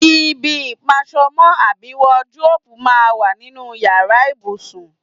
Ibi ìpas̩o̩mó̩ àbí wadiróòbù máa ń wà nínú yàrá ìbùsùn.